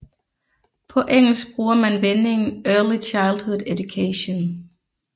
På engelsk bruger man vendingen Early Childhood Education